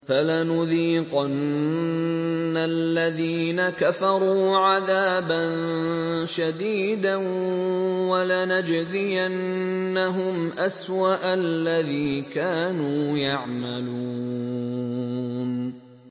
فَلَنُذِيقَنَّ الَّذِينَ كَفَرُوا عَذَابًا شَدِيدًا وَلَنَجْزِيَنَّهُمْ أَسْوَأَ الَّذِي كَانُوا يَعْمَلُونَ